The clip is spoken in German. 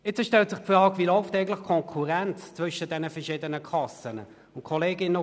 Es stellt sich die Frage, wie eigentlich die Konkurrenz zwischen den verschiedenen Kassen läuft.